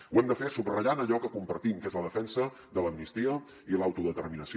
ho hem de fer subratllant allò que compartim que és la defensa de l’amnistia i l’autodeterminació